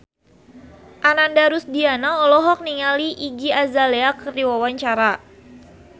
Ananda Rusdiana olohok ningali Iggy Azalea keur diwawancara